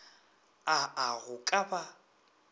a a go ka ba